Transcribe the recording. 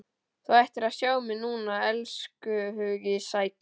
Þú ættir að sjá mig núna, elskhugi sæll.